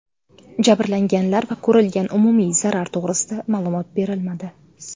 Jabrlanganlar va ko‘rilgan umumiy zarar to‘g‘risida ma’lumot berilmadi.